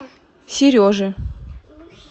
сережи